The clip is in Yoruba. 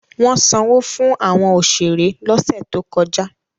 Wọ́n sanwó fún àwọn òṣèré lọ́sẹ̀ tó kọjá.